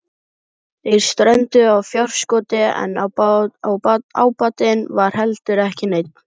Þeir strönduðu á fjárskorti en ábatinn var heldur ekki neinn.